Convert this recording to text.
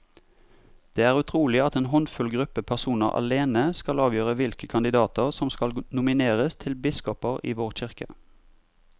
Det er utrolig at en håndfull gruppe personer alene skal avgjøre hvilke kandidater som skal nomineres til biskoper i vår kirke.